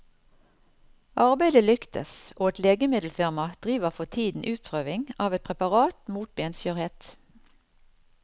Arbeidet lyktes, og et legemiddelfirma driver for tiden utprøving av et preparat mot benskjørhet.